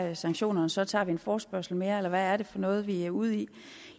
er sanktionerne så tager vi en forespørgsel mere eller hvad er det for noget vi er ude i